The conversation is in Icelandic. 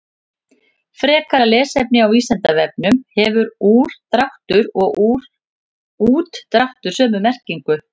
Frekara lesefni á Vísindavefnum: Hefur úrdráttur og útdráttur sömu merkingu?